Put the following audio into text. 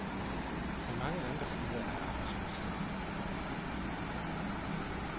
Som mange andre steder er arbejdsløsheden hovedproblemet.